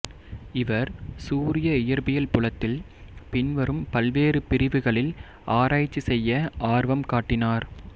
இவர் சூரிய இயற்பியல் புலத்தில் பின்வரும் பல்வேறு பிரிவுகளில் ஆராய்ச்சி செய்ய ஆர்வம் காட்டினார்